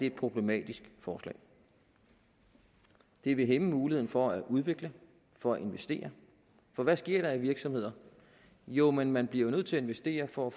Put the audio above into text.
et problematisk forslag det vil hæmme muligheden for at udvikle for at investere for hvad sker der i virksomheder jo man man bliver jo nødt til at investere for at